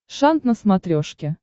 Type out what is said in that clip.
шант на смотрешке